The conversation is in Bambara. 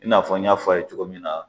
I n'a fɔ n y'a fɔ a ye cogo min na.